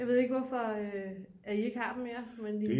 Jeg ved ikke hvorfor at I ikke har dem mere